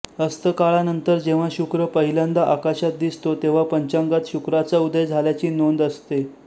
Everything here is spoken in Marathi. अस्तकाळानंतर जेव्हा शुक्र पहिल्यांदा आकाशात दिसतो तेव्हा पंचांगात शुक्राचा उदय झाल्याची नोंद असते